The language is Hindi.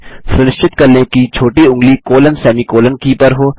सुनिश्चित कर लें कि छोटी ऊँगली कॉलनसेमीकॉलन की पर हो